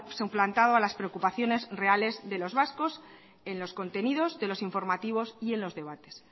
suplantado a las preocupaciones reales de los vascos en los contenidos de los informativos y en los debates